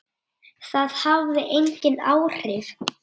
Það hafði engin áhrif.